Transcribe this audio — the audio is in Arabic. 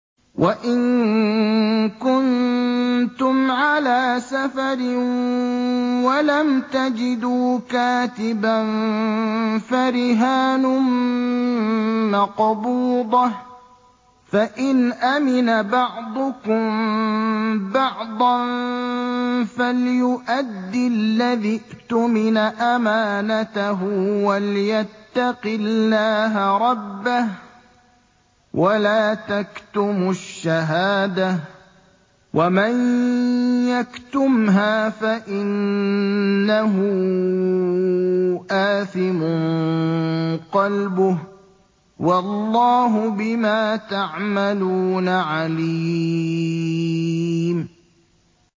۞ وَإِن كُنتُمْ عَلَىٰ سَفَرٍ وَلَمْ تَجِدُوا كَاتِبًا فَرِهَانٌ مَّقْبُوضَةٌ ۖ فَإِنْ أَمِنَ بَعْضُكُم بَعْضًا فَلْيُؤَدِّ الَّذِي اؤْتُمِنَ أَمَانَتَهُ وَلْيَتَّقِ اللَّهَ رَبَّهُ ۗ وَلَا تَكْتُمُوا الشَّهَادَةَ ۚ وَمَن يَكْتُمْهَا فَإِنَّهُ آثِمٌ قَلْبُهُ ۗ وَاللَّهُ بِمَا تَعْمَلُونَ عَلِيمٌ